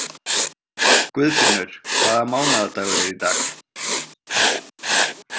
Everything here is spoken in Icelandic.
Guðfinnur, hvaða mánaðardagur er í dag?